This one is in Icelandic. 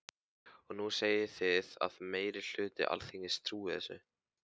Og nú segið þið að meiri hluti Alþingis trúi þessu.